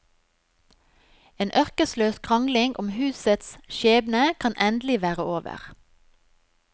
En ørkesløs krangling om husets skjebne kan endelig være over.